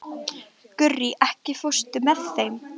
Gurrí, ekki fórstu með þeim?